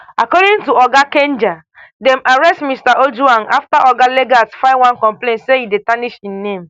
according to oga kanja dem arrest mr ojwang afta oga lagat file one complain say e dey tarnish im name